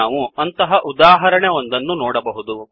ನಾವು ಇಲ್ಲಿ ಅಂತಹ ಉದಾಹರಣೆ ಒಂದನ್ನು ನೋಡಬಹುದು